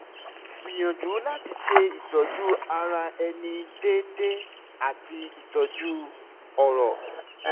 gbìyànjú láti ṣe ìtọ́jú ara ẹni déédéé àti ìtọ́jú ọ̀rọ̀